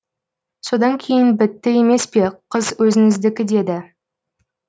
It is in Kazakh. содан кейін бітті емес пе қыз өзіңдікі деді